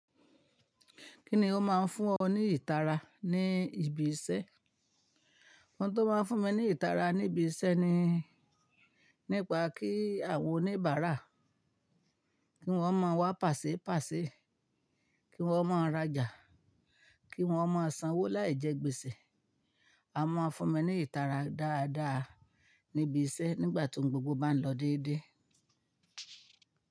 Kíni ó máa ń fún ọ ní ìtara ní ibi iṣẹ́? Ohun tó máa ń fún mi ní ìtara ní ibi iṣẹ́ ni, nípa kí àwọn oníbàárà, kí wọ́n má wá pàṣé pàṣé, kí wọ́n má rá jà, kí wọ́n má sanwó láì jẹ gbèsè. A máa ń fún mi ní ìtara dáadáa ní ibi iṣẹ́ nígbà tí ohun gbogbo bá ń lọ déédéé.